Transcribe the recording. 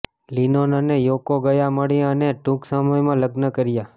Lennon અને Yoko ગયા મળીને અને ટૂંક સમયમાં લગ્ન કર્યા